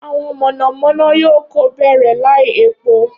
Awọn monomono yoo ko bẹrẹ lai epo